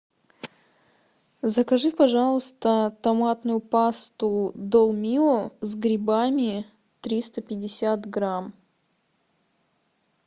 закажи пожалуйста томатную пасту долмио с грибами триста пятьдесят грамм